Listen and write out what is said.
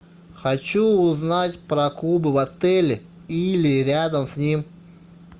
хочу узнать про клубы в отеле или рядом с ним